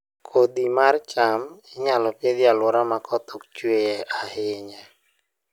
Kodhi mar cham inyalo Pidho e alwora ma koth ok chue ahinya